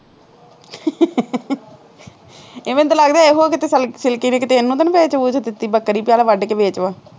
ਅਤੇ ਮੈਨੂੰ ਤਾਂ ਲੱਗਦਾ ਇਹੋ ਕਿਤੇ ਸਿਲ ਸਿਲਕੀ ਦੀ ਕਿਤੇ ਇਹਨੂੰ ਤਾ ਨਹੀਂ ਵੇਚ ਵੂਚ ਦਿੱਤੀ ਬੱਕਰੀ ਚੱਲ ਵੱਢ ਕੇ ਵੇਚ ਵੱਟ